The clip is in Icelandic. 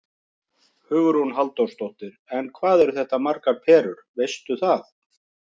Hugrún Halldórsdóttir: En hvað eru þetta margar perur, veistu það?